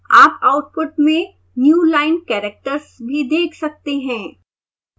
आप आउटपुट में newline characters भी देख सकते हैं